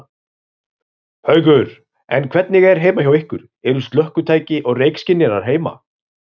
Haukur: En hvernig er heima hjá ykkur, eru slökkvitæki og reykskynjarar heima?